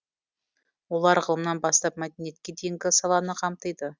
олар ғылымнан бастап мәдениетке дейінгі саланы қамтиды